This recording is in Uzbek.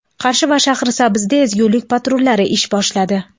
Qarshi va Shahrisabzda ezgulik patrullari ish boshladi.